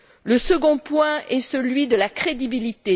Le second point est celui de la crédibilité.